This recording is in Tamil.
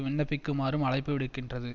விண்ணப்பிக்குமாறும் அழைப்பு விடுக்கின்றது